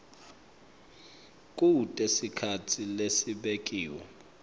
kute sikhatsi lesibekiwe